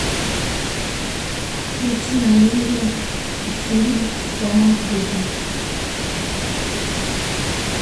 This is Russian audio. включи на иви фильм с томом крузом